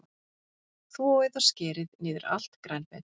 Þvoið og skerið niður allt grænmetið.